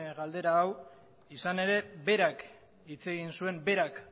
galdera hau izan ere berak hitz egin zuen berak